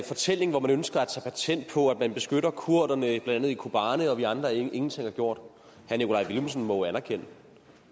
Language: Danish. fortælling hvor man ønsker at tage patent på at man beskytter kurderne blandt andet i kobane og at vi andre ingenting har gjort herre nikolaj villumsen må jo anerkende